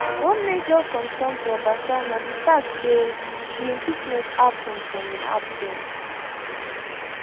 one major concern to obasa na di fact say di impeachment happun for im absence